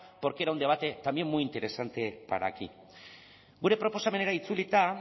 porque era un debate también muy interesante para aquí gure proposamenera itzulita